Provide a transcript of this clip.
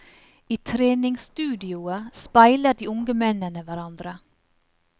I treningsstudioet speiler de unge mennene hverandre.